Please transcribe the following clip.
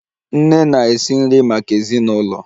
Nne na-esi nri maka ezinụlọ